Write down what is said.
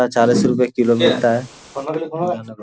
चालीस रुपये किलो मिलता है।